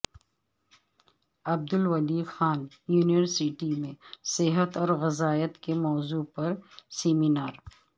Abdul Wali Khan university میں صحت اور غذائیت کے موضوع پر سیمینار